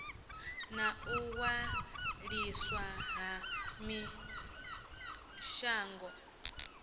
na u waliswa ha mishonga